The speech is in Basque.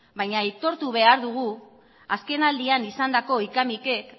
baina aitortu behar dugu azkenaldian izandako hika mikek